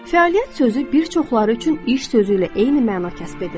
Fəaliyyət sözü bir çoxları üçün iş sözü ilə eyni məna kəsb edir.